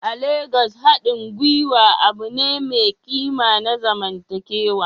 A Legas, haɗin gwiwa abu ne mai ƙima na zamantakewa.